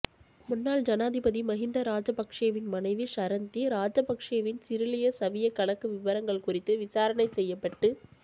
முன்னாள் ஜனாதிபதி மகிந்த ராஜபக்சவின் மனைவி ஷரந்தி ராஜபக்சவின் சிரிலிய சவிய கணக்கு விபரங்கள் குறித்து விசாரணை செய்யப்பட்டு